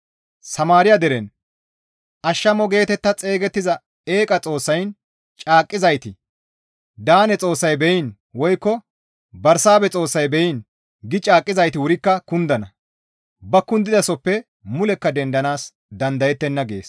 Samaariya deren, ‹Ashamo› geetetta xeygettiza eeqa xoossayn caaqqizayti, ‹Daane xoossay beyiin› woykko, ‹Bersaabehe xoossay beyiin› gi caaqqizayti wurikka kundana; ba kundidasohoppe mulekka dendanaas dandayettenna» gees.